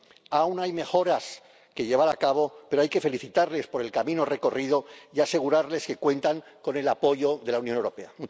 Aún hay mejoras que llevar a cabo, pero hay que felicitarles por el camino recorrido y asegurarles que cuentan con el apoyo de la Unión Europea.